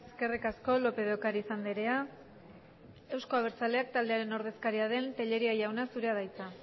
eskerrik asko lópez de ocariz andrea euzko abertzaleak taldearen ordezkaria den tellería jauna zure da hitza